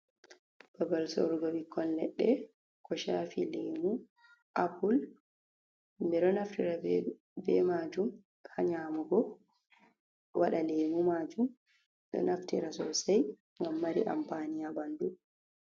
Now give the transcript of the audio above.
Babal sorugo bikkon ledde ko chafi lemu apple ,bedo naftira be majum ha nyamugo wada lemu majum do naftira sosai gam mari ampani ha bandu.